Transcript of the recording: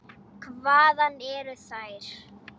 Hvaðan eru þær.